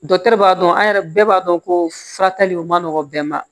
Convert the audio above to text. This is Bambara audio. Dɔkitɛriw b'a dɔn an yɛrɛ bɛɛ b'a dɔn ko fura tali o man nɔgɔn bɛn ma